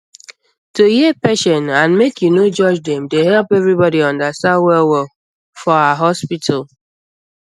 to hear patient and make you no judge dem dey help everybody understand wellwell for ah hospital